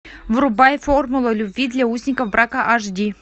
врубай формула любви для узников брака аш ди